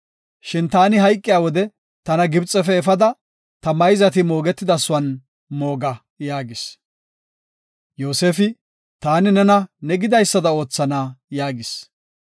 Shin taani hayqiya wode tana Gibxefe efada, ta mayzati moogetidasuwan mooga” yaagis. Yoosefi, “Taani, nena ne gidaysada oothana” yaagis.